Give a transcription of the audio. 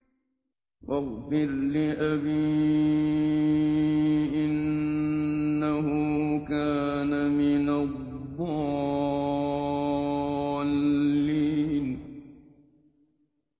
وَاغْفِرْ لِأَبِي إِنَّهُ كَانَ مِنَ الضَّالِّينَ